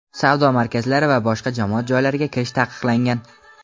savdo markazlari va boshqa jamoat joylariga kirish taqiqlangan.